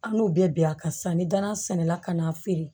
An n'u bɛɛ bɛn a kan sisan ni danana sɛnɛla ka n'a feere